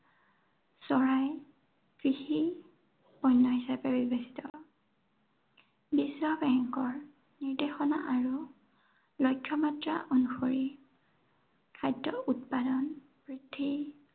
চৰাই, কৃষি, পণ্য় হিচাপে বিবেচিত বিশ্ব বেংকৰ নিৰ্দেশনা আৰু লক্ষ্য় মাত্ৰা অনুসৰি খাদ্য়ৰ উৎপাদন বৃদ্ধি